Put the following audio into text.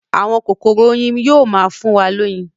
Àwọn kokoro oyin yóò má fún wa loyin.